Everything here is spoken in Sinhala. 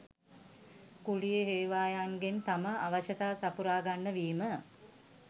කුලී හේවායන්ගෙන් තම අවශ්‍යතා සපුරා ගන්න වීම